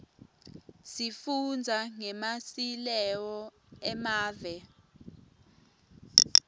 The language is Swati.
sifundza ngemasileo emave